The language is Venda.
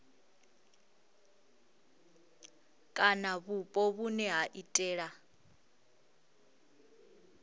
kana vhupo vhune ha iitela